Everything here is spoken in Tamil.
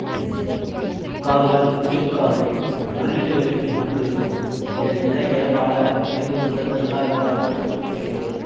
இக்காதுகள் நீள்காது முள்ளெலிகளை போன்று இருக்கும் இதன் எடை ஏறத்தாழ ஐநூறு முதல் தொள்ளாயிரம் கிராம் இருக்கிறது